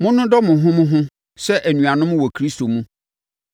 Monnodɔ mo ho mo ho sɛ anuanom wɔ Kristo mu.